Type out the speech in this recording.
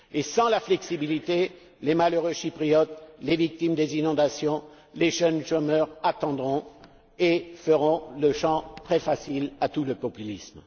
Sans la flexibilité, les malheureux Chypriotes, les victimes des inondations, les jeunes chômeurs attendront et feront le champ très facile à tous les populismes.